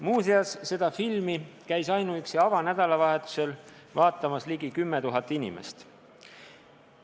" Muuseas, seda filmi käis ainuüksi avanädalavahetusel vaatamas ligi 10 000 inimest.